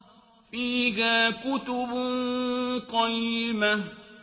فِيهَا كُتُبٌ قَيِّمَةٌ